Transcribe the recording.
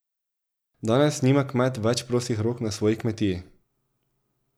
Danes nima kmet več prostih rok na svoji kmetiji.